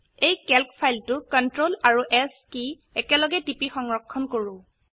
এই ক্যালক ফাইলটো CTRL আৰু S কি একেলগে টিপি সংৰক্ষণ কৰো